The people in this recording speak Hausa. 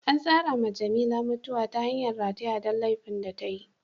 An tsara ma Jamila mutuwa ta hangan rataya don laifin da tayi.